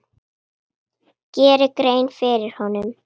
geri grein fyrir honum?